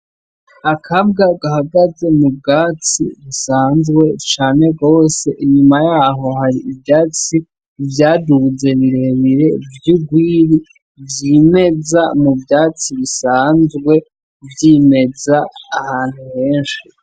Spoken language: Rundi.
Akabwa gahagaze mu bwatsi busanzwe cane rwose, inyuma yaho hari ivyatsi vyaduze birebire vy'ugwiri vyimeza mu vyatsi bisanzwe vyimeza ahantu henshi.